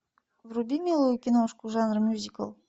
вруби милую киношку жанр мюзикл